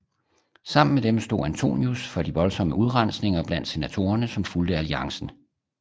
Sammen med dem stod Antonius for de voldsomme udrensninger blandt senatorerne som fulgte alliancen